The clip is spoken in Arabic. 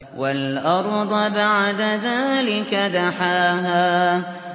وَالْأَرْضَ بَعْدَ ذَٰلِكَ دَحَاهَا